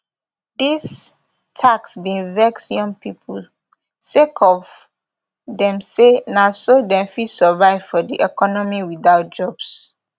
dis tax bin vex young pipo sake of dem say na so dem fit survive for di economy without jobs